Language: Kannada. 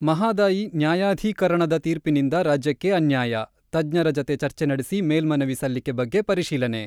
ಮಹದಾಯಿ ನ್ಯಾಯಾಧೀಕರಣದ ತೀರ್ಪಿನಿಂದ ರಾಜ್ಯಕ್ಕೆ ಅನ್ಯಾಯ: ತಜ್ಞರ ಜತೆ ಚರ್ಚೆ ನಡೆಸಿ ಮೇಲ್ಮನವಿ ಸಲ್ಲಿಕೆ ಬಗ್ಗೆ ಪರಿಶೀಲನೆ.